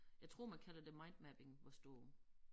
Jeg tror man kalder det mindmapping hvis du